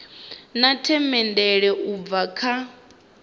na themendelo u bva kha